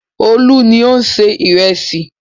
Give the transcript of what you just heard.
Olú ni ó ń se ìrẹsì.